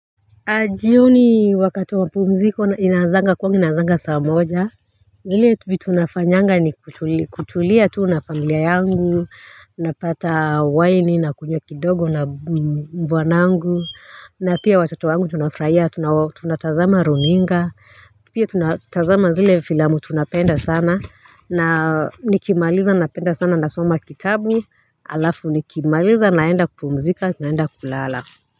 Jioni wakati wamapumziko inazanga kwangu inazanga saa moja vile vitu nafanyanga ni kutulia tu na familia yangu Napata waini na kunywa kidogo na bwanangu na pia watoto wangu tunafurahia tunatazama runinga Pia tunatazama zile filamu tunapenda sana na nikimaliza napenda sana nasoma kitabu Alafu nikimaliza naenda kupumzika naenda kulala.